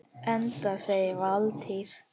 Enda segir Valtýr